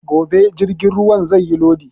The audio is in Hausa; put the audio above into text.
Gobe jirgin zai yi lodi